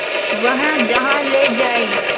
वह जहाँ ले जाए